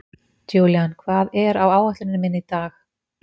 Julian, hvað er á áætluninni minni í dag?